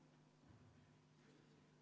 Head kolleegid, võetud vaheaeg on läbi.